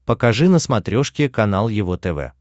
покажи на смотрешке канал его тв